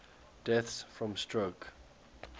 deaths from stroke